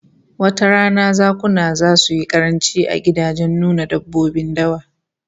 Wata rana zakuna zasu yi karanci a gidajen nuna dabbobin dawa